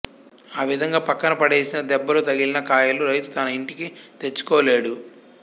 ఆవిధంగా పక్కన పడేసిన దెబ్బలు తగిలిన కాయలు రైతు తన ఇంటికి తెచ్చుకోలేడు